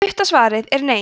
stutta svarið er nei